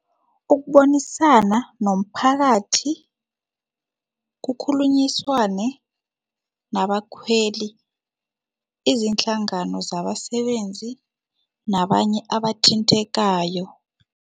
Ukubonisana nomphakathi, kukhulunyiswane nabakhweli, izinhlangano zabasebenzi nabanye abathintekayo.